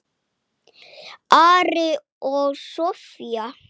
Ari og Soffía.